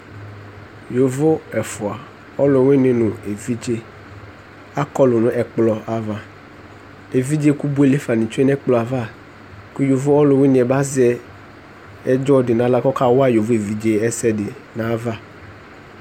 yovo ɛfua ɔlowini no evidze akɔlo no ɛkplɔ ava evidze ko boele fa ni tsue no ɛkplɔ ava ko yovo ɔlowini bi azɛ ɛdzɔ di no ala ko ɔka wa yovo evidze ɛsɛ di no ava